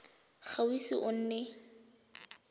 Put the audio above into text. ga o ise o nne